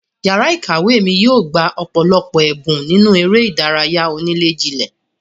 Yàrá ìkàwé mi yóò gbà ọ̀pọ̀lọpọ̀ ẹ̀bùn nínú eré ìdárayá onílè-jilè.